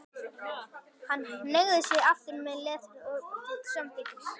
Hann hneigði sig aftur með léttri upphrópun til samþykkis.